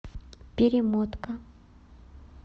перемотка